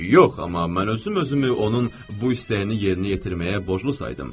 Yox, amma mən özüm özümü onun bu istəyini yerinə yetirməyə borclu saydım.